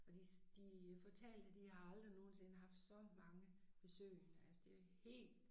Og de de fortalte de har aldrig nogensinde haft så mange besøgende altså det helt